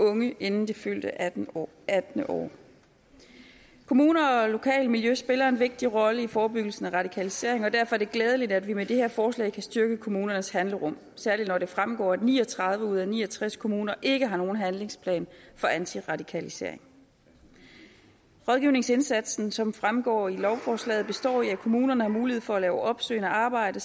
unge inden det fyldte attende år attende år kommuner og lokalt miljø spiller en vigtig rolle i forebyggelsen af radikalisering og derfor er det glædeligt at vi med det her forslag kan styrke kommunernes handlerum særlig når det fremgår at ni og tredive ud af ni og tres kommuner ikke har nogen handlingsplan for antiradikalisering rådgivningsindsatsen som fremgår af lovforslaget består i at kommunerne har mulighed for at lave opsøgende arbejde